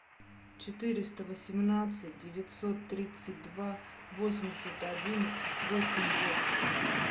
четыреста восемнадцать девятьсот тридцать два восемьдесят один восемь восемь